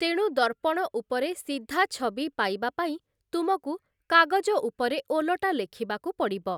ତେଣୁ ଦର୍ପଣ ଉପରେ ସିଧା ଛବି ପାଇବା ପାଇଁ ତୁମକୁ କାଗଜ ଉପରେ ଓଲଟା ଲେଖିବାକୁ ପଡ଼ିବ ।